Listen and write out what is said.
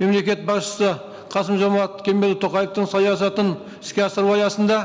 мемлекет басшысы қасым жомарт кемелұлы тоқаевтың саясатын іске асыру аясында